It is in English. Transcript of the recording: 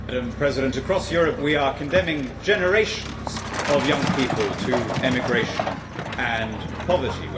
Madam President, across Europe, we are condemning generations of young people to emigration and poverty.